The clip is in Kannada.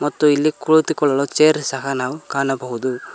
ಮತ್ತು ಇಲ್ಲಿ ಕುಳಿತುಕೊಳ್ಳಲು ಚೇರ್ ಸಹ ನಾವು ಕಾಣಬಹುದು.